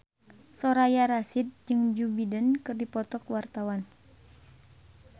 Soraya Rasyid jeung Joe Biden keur dipoto ku wartawan